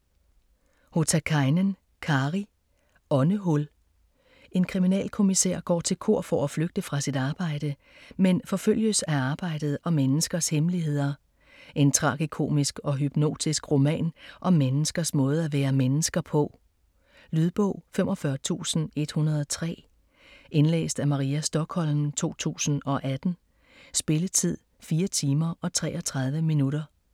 Hotakainen, Kari: Åndehul En kriminalkommisær går til kor for at flygte fra sit arbejde, men forfølges af arbejdet og menneskers hemmeligheder. En tragikomisk og hypnotisk roman om menneskers måde at være mennesker på. Lydbog 45103 Indlæst af Maria Stokholm, 2018. Spilletid: 4 timer, 33 minutter.